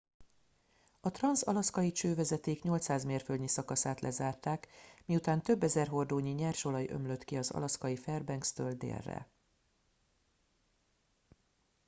a transz alaszkai csővezeték 800 mérföldnyi szakaszát lezárták miután több ezer hordónyi nyers olaj ömlött ki az alaszkai fairbankstől délre